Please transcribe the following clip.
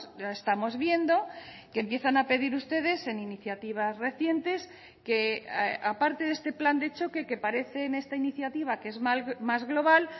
ya estamos viendo que empiezan a pedir ustedes en iniciativas recientes que aparte de este plan de choque que parece en esta iniciativa que es más global